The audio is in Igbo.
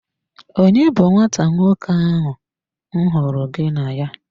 Onye bu nwata nwoke ahụ m hụrụ gị na ya?